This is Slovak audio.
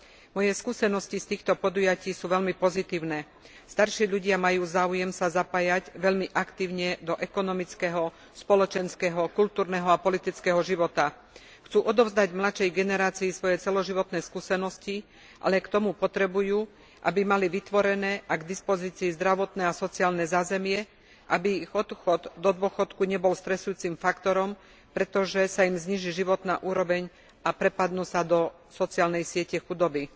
Moje skúseností z týchto podujatí sú veľmi pozitívne. Starší ľudia majú záujem sa zapájať veľmi aktívne do ekonomického, spoločenského, kultúrneho a politického života. Chcú odovzdať mladšej generácií svoje celoživotné skúsenosti, ale k tomu potrebujú, aby mali vytvorené k dispozícií zdravotné a sociálne zázemie, aby ich odchod do dôchodku nebol stresujúcim faktorom, pretože sa im zníži životná úroveň a prepadnú sa do sociálnej siete chudoby.